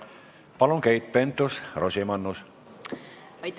Palun, Keit Pentus-Rosimannus!